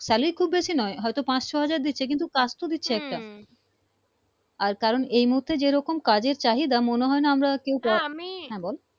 salary খুব বেশি নয় হয়তো পাঁচ ছ হাজার দিচ্ছে কিন্তু কাজ তো দিচ্ছে একটা আর কারন এই মহুতে যেরকম কাজের চাহিদা মনে হয় না আমরা কেও আমি হ্যা বল